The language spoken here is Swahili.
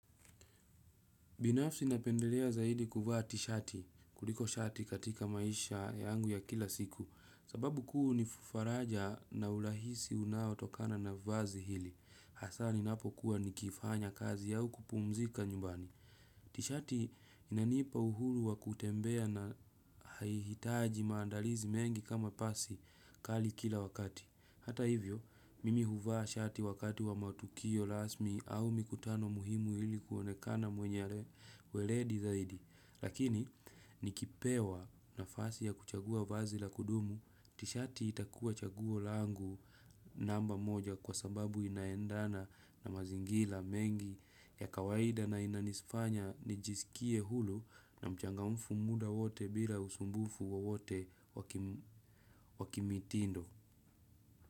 Binafsi napendelea zaidi kuvaa tishati, kuliko shati katika maisha yangu ya kila siku, sababu kuu ni faraja na urahisi unaotokana na vazi hili. Hasa ninapo kuwa nikifanya kazi au kupumzika nyumbani. Tishati inanipa uhuru wa kutembea na haihitaji maandalizi mengi kama pasi kali kila wakati. Hata hivyo, mimi huvaa shati wakati wa matukio rasmi au mikutano muhimu ili kuonekana mwenye weledi zaidi. Lakini, nikipewa nafasi ya kuchagua vazi la kudumu. Tishati itakuwa chaguo langu namba moja kwa sababu inaendana na mazingira mengi ya kawaida na inanifanya nijisikie huru na mchangamfu muda wote bila usumbufu wowote wa kimitindo.